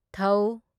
ꯊ